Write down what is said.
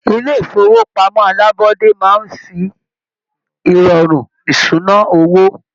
Ilé ifowopamọ alabọde máa n fí irọrun ìṣúná owó.